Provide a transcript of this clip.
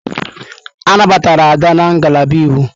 A nabatara Ada na ngalaba Iwu.